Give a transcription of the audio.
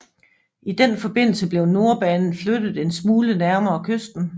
I den forbindelse blev Nordbanen flyttet en smule nærmere kysten